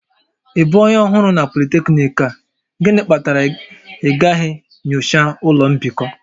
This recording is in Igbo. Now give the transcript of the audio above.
Ị bụ onye ọhụrụ na polytechnic a? Gịnị kpatara na ịgaghị nyocha ụlọ mbikọ?